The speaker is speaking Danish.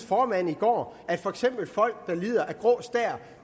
formand i går at for eksempel folk der lider af grå stær